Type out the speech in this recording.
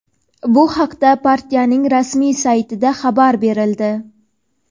Bu haqda partiyaning rasmiy saytida xabar berildi.